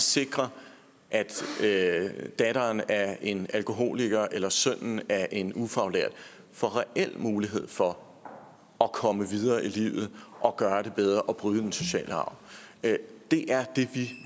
sikre at datteren af en alkoholiker eller sønnen af en ufaglært får reel mulighed for at komme videre i livet og gøre det bedre og bryde den sociale arv det er det vi